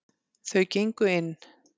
Þau gengu inn.